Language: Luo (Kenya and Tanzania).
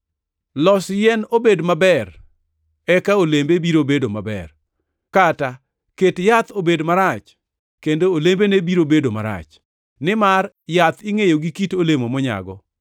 “Los yien obed maber eka olembe biro bedo maber, kata ket yath obed marach kendo olembene biro bedo marach, nimar yath ingʼeyo gi kit olemo monyago.